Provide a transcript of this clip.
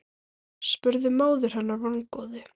spurði móðir hennar vongóð.